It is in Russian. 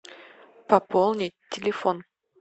пополнить телефон